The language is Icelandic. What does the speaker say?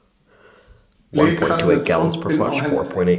Blikar með trompin á hendi